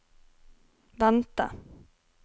vente